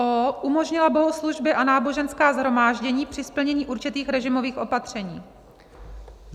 o) umožnila bohoslužby a náboženská shromáždění při splnění určitých režimových opatření.